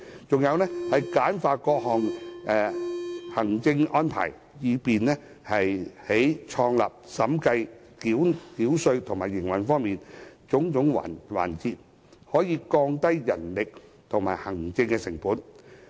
再者，簡化各項行政安排，以便在創立、審計、繳稅和營運等種種環節降低人力及行政成本。